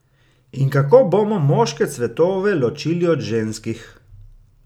In kako bomo moške cvetove ločili od ženskih?